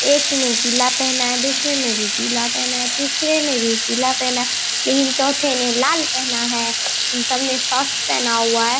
एक ने पीला पहना है दूसरे ने भी पीला पहना है तीसरे ने भी पीला पहना है लेकिन चौथे ने लाल पहना है इन सब ने शॉर्ट्स पहना हुआ है।